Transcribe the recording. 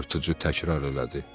yırtıcı təkrar elədi.